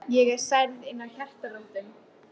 Ég er særð inn að hjartarótum.